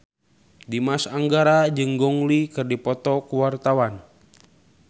Dimas Anggara jeung Gong Li keur dipoto ku wartawan